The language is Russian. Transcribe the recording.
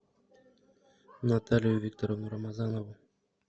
наталью викторовну рамазанову